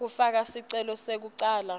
kufaka sicelo sekucala